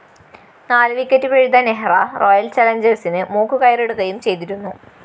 നാലു വിക്കറ്റ്‌ പിഴുത നെഹ്‌റ റോയൽ ചലഞ്ചേഴ്‌സിന് മൂക്കുകയറിടുകയും ചെയ്തിരുന്നു